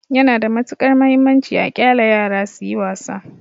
Yana da matuƙar mahimmanci a ƙyale yara suyi wasa.